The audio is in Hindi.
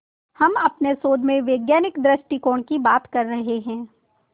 हम अपने शोध में वैज्ञानिक दृष्टिकोण की बात कर रहे हैं